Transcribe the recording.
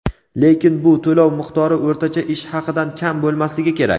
lekin bu to‘lov miqdori o‘rtacha ish haqidan kam bo‘lmasligi kerak.